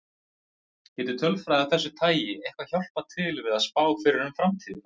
Við gerum þetta.